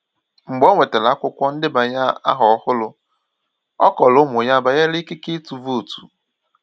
Mgbe o nwetàrà akwụkwọ ndebanye ahọ ọhụrụ, ọ kọrọ ụmụ ya banyere ikike ịtụ vootu.